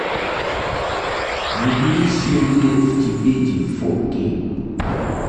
набери семь лет в тибете фо кей